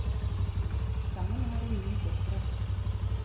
Sammen har de ni døtre..